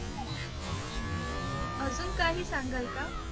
अजून काही सांगाल का